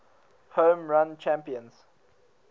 home run champions